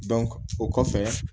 o kɔfɛ